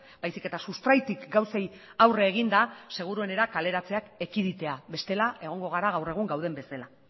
baizik eta sustraitik gauzei aurre eginda seguruenera kaleratzeak ekiditea bestela egongo gara gaur egun gauden bezala